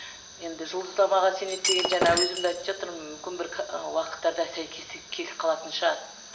енді жұлдызнамаға сенеді деген жаңа өзім де айтып жатырмын мүмкін бір уақыттарда сәйкестік келіп қалатын шығар